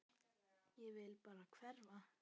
Ég vil bara hverfa.